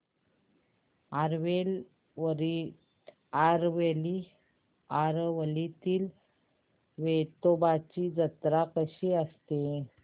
आरवलीतील वेतोबाची जत्रा कशी असते